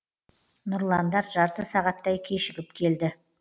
нұрландар жарты сағаттай кешігіп келді